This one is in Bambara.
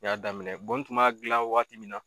I y'a daminɛ bɔn kuma gilan wagati min na